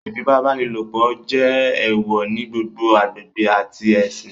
Ifipabanilopo jẹ eewọ ni gbogbo agbegbe ati ẹsin